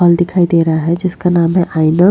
hall दिखाई दे रहा जिसका नाम है आयनोक --